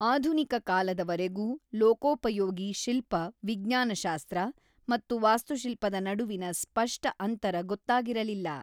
ಆಧುನಿಕ ಕಾಲದ ವರೆಗೂ ಲೋಕೋಪಯೋಗಿ ಶಿಲ್ಪ ವಿಜ್ಞಾನಶಾಸ್ತ್ರ ಮತ್ತು ವಾಸ್ತುಶಿಲ್ಪದ ನಡುವಿನ ಸ್ಫಷ್ಟ ಅಂತರ ಗೊತ್ತಾಗಿರಲಿಲ್ಲ.